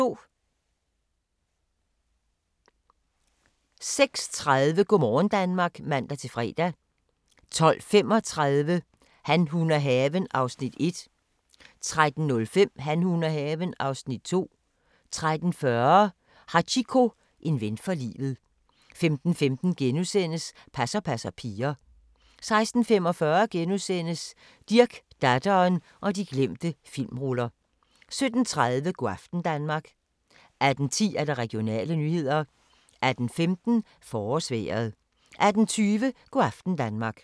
06:30: Go' morgen Danmark (man-fre) 12:35: Han, hun og haven (Afs. 1) 13:05: Han, hun og haven (Afs. 2) 13:40: Hachiko – en ven for livet 15:15: Passer passer piger * 16:45: Dirch, datteren og de glemte filmruller * 17:30: Go' aften Danmark 18:10: Regionale nyheder 18:15: Forårsvejret 18:20: Go' aften Danmark